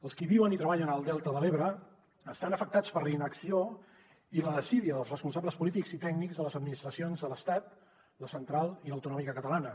els qui viuen i treballen al delta de l’ebre estan afectats per la inacció i la desídia dels responsables polítics i tècnics de les administracions de l’estat la central i l’autonòmica catalana